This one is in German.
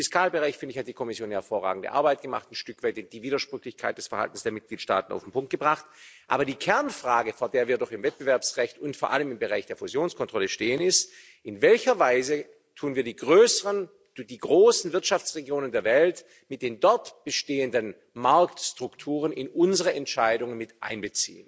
Im Fiskalbereich, finde ich, hat die Kommission hervorragende Arbeit gemacht, ein Stück weit die Widersprüchlichkeit des Verhaltens der Mitgliedstaaten auf den Punkt gebracht. Aber die Kernfrage, vor der wir doch im Wettbewerbsrecht und vor allem im Bereich der Fusionskontrolle stehen, ist, in welcher Weise beziehen wir die größeren, die großen Wirtschaftsregionen der Welt mit den dort bestehenden Marktstrukturen bei unserer Entscheidung mit ein.